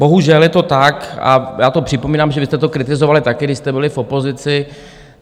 Bohužel, je to tak a já to připomínám, že vy jste to kritizovali taky, když jste byli v opozici.